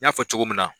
N y'a fɔ cogo min na